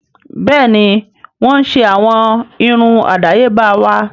Bẹ́ẹ̀ni wọ́n ń ṣe àwọn irun àdáyébá wa